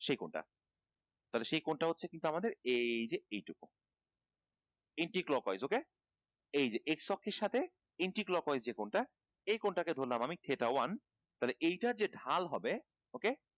সেই কোণ টা সেই কোণ টা হচ্ছে আমাদের এই যে এইটুকু anti clock wise ok এই যে x অক্ষের সাথে anti clock wise যে কোণ টা এই কোণ টা কে ধরালাম আমি যে এটা one তাহলে এইটা যে ঢাল হবে ok